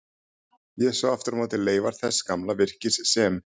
Ég sá aftur á móti leifar þess gamla virkis sem